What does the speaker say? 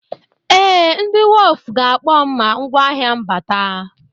Ee, ndị wọf ga-akpọrọ m ma ngwáahịa m bata.